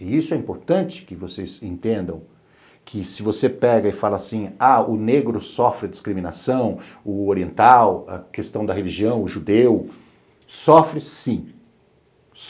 E isso é importante que vocês entendam que se você pega e fala assim, ah, o negro sofre discriminação, o oriental, a questão da religião, o judeu, sofre sim.